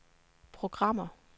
programmer